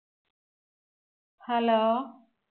hello